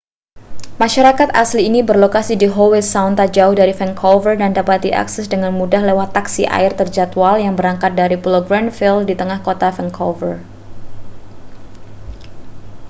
masyarakat asli ini berlokasi di howe sound tak jauh dari vancouver dan dapat diakses dengan mudah lewat taksi air terjadwal yang berangkat dari pulau granville di tengah kota vancouver